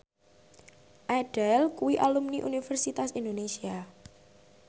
Adele kuwi alumni Universitas Indonesia